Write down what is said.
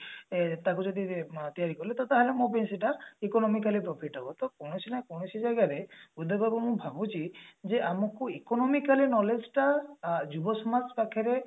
ଏ ତାକୁ ଯଦି ତିଆରି କଲି ତାହେଲେ ମୋ ପାଇଁ ସେଇଟା economically profit ହବ ତ କୌଣସି ନା କୌଣସି ଜାଗାରେ ଉଦୟ ବାବୁ ମୁଁ ଭାବୁଛି ଯେ ଆମକୁ economically knowledge ଟା ଯୁବ ସମାଜ ପାଖରେ